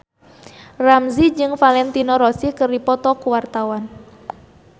Ramzy jeung Valentino Rossi keur dipoto ku wartawan